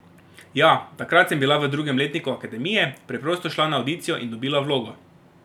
Ja, takrat sem bila v drugem letniku akademije, preprosto šla na avdicijo in dobila vlogo.